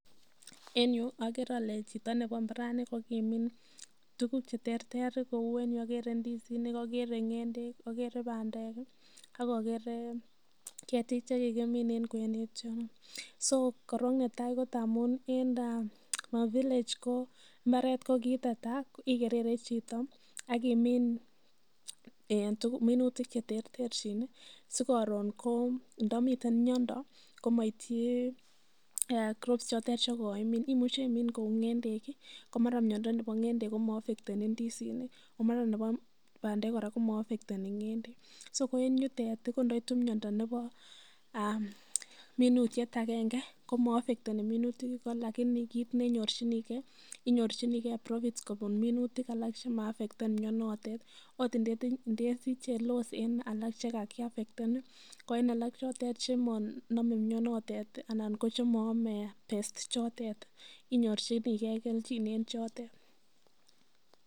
En yu ogere ole chito nebo mbarani ko kimin tuugk che terter, kou en yu ogere ndisinik, ogere ng'endek, oger bandek, ak ogere ketik che kigimin en kwenet yu. So korong nnetai ko ngamun en our village ko kiteta igerere chito ak imin minutik che terterchin sikoron ko ndoiten miondo komityi crops chotet chekoimin. Imuche imin kou ng'endek , ko mara miondo nebo ng'endek komoaffecteni indisinik o mara nebo bandek kora komaaffecteni ng'endek. So ko en yutet ko ndoitu miondo nebo minutiet agenge ko moaffecteni minutik igo lakini kit nenyorjinige inyorjinige profits kobun minutik alak che maaffecten mianotet, ot indesiche loss en alak che kakiaffecten ko en alak chotet chemonome mianotet anan ko chemoome pests ichotet inyorchinige kelchin en chotet.